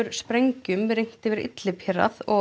sprengjum rignt yfir Idlib hérað